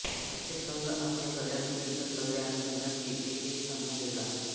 प्रत्येक संघ आपल्या गटातील इतर सगळ्या संघांशी एकएक सामना खेळला